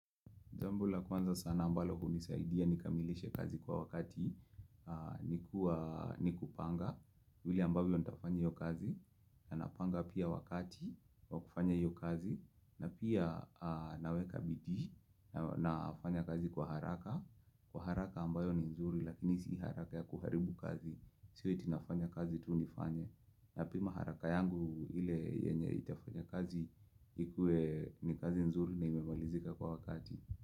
Jambo laa kwanza sana ambalo hunisaidia ni kamilishe kazi kwa wakati ni kupanga. Vile ambavyo nitafanya hiyo kazi. Na napanga pia wakati wa kufanya hiyo kazi. Na pia naweka bidii na nafanya kazi kwa haraka. Kwa haraka ambayo ni nzuri lakini sio haraka ya kuharibu kazi. Sio eti nfanya kazi tu nifanye. Na pima haraka yangu ile yenye itafanya kazi ikue ni kazi nzuri na imemalizika kwa wakati.